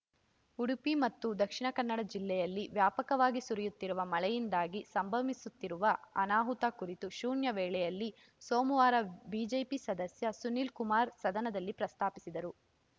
ಉಡುಪಿ ಮತ್ತು ದಕ್ಷಿಣ ಕನ್ನಡ ಜಿಲ್ಲೆಯಲ್ಲಿ ವ್ಯಾಪಕವಾಗಿ ಸುರಿಯುತ್ತಿರುವ ಮಳೆಯಿಂದಾಗಿ ಸಂಭವಿಸುತ್ತಿರುವ ಅನಾಹುತ ಕುರಿತು ಶೂನ್ಯ ವೇಳೆಯಲ್ಲಿ ಸೋಮವಾರ ಬಿಜೆಪಿ ಸದಸ್ಯ ಸುನೀಲ್‌ಕುಮಾರ್‌ ಸದನದಲ್ಲಿ ಪ್ರಸ್ತಾಪಿಸಿದರು